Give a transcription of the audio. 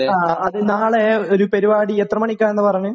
ആ. അത് നാളെ...ഒരു... പരുപാടി.എത്ര മണിക്കാണെന്നാണ് പറഞ്ഞത്?